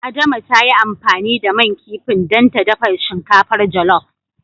Adama ta yi amfani da man kifin dan ta dafa shinkafar jolof.